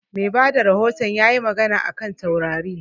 Mai bada rahoton ya yi magana a kan taurari